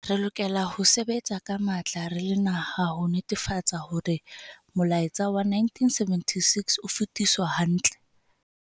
Re lokela ho sebetsa ka matla re le naha ho netefatsa hore molaetsa wa 1976 o fetiswa hantle.